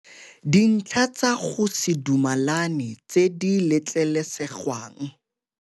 DINTLHA TSA GO SE DUMELANE TSE DI LETLELESEGWANG